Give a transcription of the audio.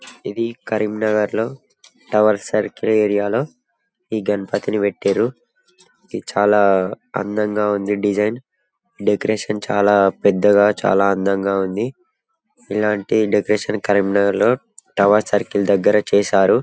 ఇధి కరీంనగర్ లో tower circle area లో ఈ గణపతిని పెట్టిర్రు ఇది చాలా అందముగా ఉంది డిసైన్ డెకరేషన్ చాలా పెద్దగా ఆ చాల అందముగా ఉంది ఇలాంటి డెకరేషన్ కరీంనగర్ లో టవర్ సర్కిల్ దగ్గర చేసారు .